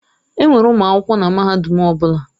Enwere ụmụ akwụkwọ na mahadum ọ bụla.